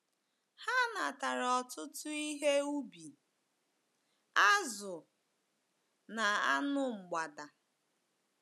Ha natara ọtụtụ ihe ubi, azụ̀, na anụ mgbada.